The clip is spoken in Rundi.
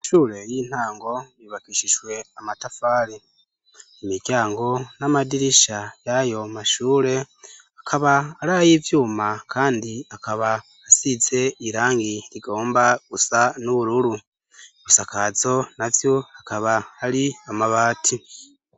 Amashure y'intango yubakishijwe amatafari, imiryango n'amadirisha y'ayomashure akaba aray'ivyuma kandi akaba asize irangi rigomba gusa n'ubururu, ibisakazo navyo akaba ari amabati.